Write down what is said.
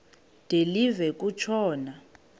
de live kutshona